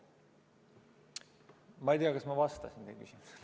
Ma ei tea, kas ma vastasin teie küsimusele.